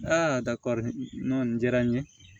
Aa dakɔrɔ nɔn diyara n ye